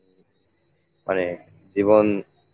মানে জীবন